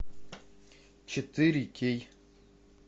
четыре кей